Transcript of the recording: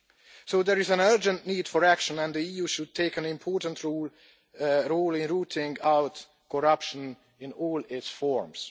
So there is an urgent need for action, and the EU should take an important role in rooting out corruption in all its forms.